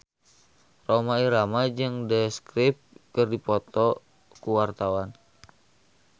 Rhoma Irama jeung The Script keur dipoto ku wartawan